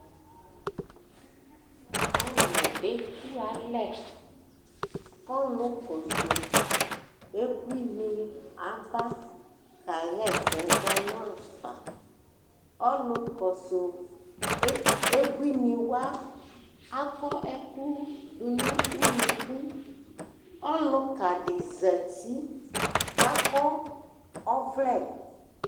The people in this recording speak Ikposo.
alo eku alɛ ko ɔlo kɔso abuini aba ka ɣa ɛsɛ zɔ n'afa ɔlo kɔso abuini wa akɔ ɛko do no unuku ɔloka di zati k'akɔ ɔvlɛ